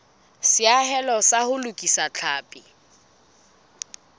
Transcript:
seahelo sa ho lokisa tlhapi